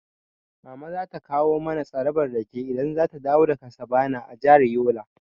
Mama za ta kawo mana tsarabar rake idan zata dawo daga sabana a jihar Yola.